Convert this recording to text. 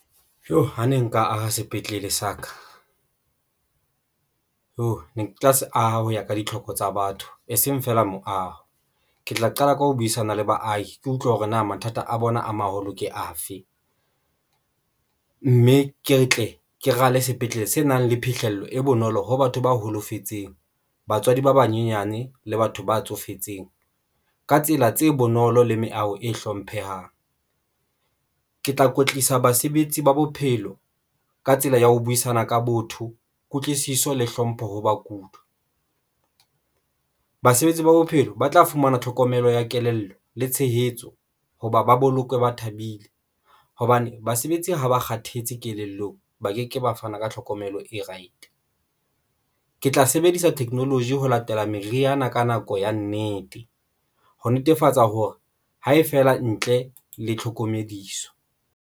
Joo ha ne nka aha sepetlele sa ka Iyoh ne ke tla se aha hoya ka ditlhoko tsa batho e seng feela moaho, ke tla qala ka ho buisana le baahi. Ke utlwe hore na mathata a bona a maholo ke afe mme ke tle ke rale sepetlele se nang le phihlello e bonolo ho batho ba holofetseng, batswadi ba banyenyane le batho ba tsofetseng ka tsela tse bonolo le meaho e hlomphehang. Ke tla kwetlisa basebetsi ba bophelo ka tsela ya ho buisana ka botho, kutlwisiso le hlompho ho bakudi. Basebetsi ba bophelo ba tla fumana tlhokomelo ya kelello le tshehetso hoba ba bolokwe ba thabile hobane basebetsi ha ba kgathetse kelellong, ba keke ba fana ka tlhokomelo e right. Ke tla sebedisa technology ho latela meriana ka nako ya nnete ho netefatsa hore ha e feela ntle le tlhokomediso.